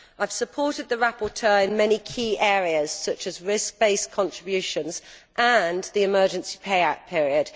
I have supported the rapporteur in many key areas, such as risk based contributions and the emergency payout period.